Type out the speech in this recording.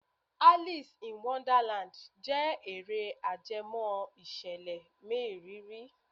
Alice in Wonderland jẹ́ eré ajẹmọ́ ìṣẹ̀lẹ̀ mériìrí.